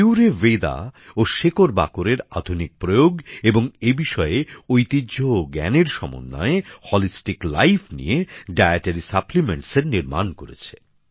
কিওরভেদাও শেকড়বাকড় এর আধুনিক প্রয়োগ এবং এ বিষয়ের ঐতিহ্য ও জ্ঞানের সমন্বয়ে সর্বাঙ্গীণ জীবনযাত্রা নিয়ে ডায়েটরি সাপ্লিমেন্টসের তৈরি করেছে